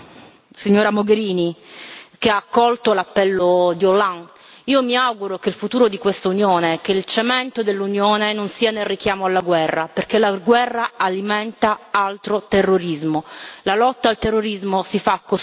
E mi rivolgo alla signora Mogherini, che ha accolto l'appello di Hollande io mi auguro che il futuro di questa Unione, che il suo cemento, non sia nel richiamo alla guerra, perché la guerra alimenta altro terrorismo.